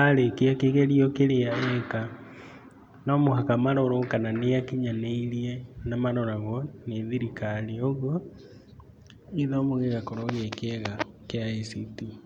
arĩkia kĩgerio kĩrĩa areka, no mũhaka marorwo kana nĩ akinyanĩirie na maroragwo nĩ thirikari, ũguo gĩthomo gĩgakorwo gĩkĩega kia ICT.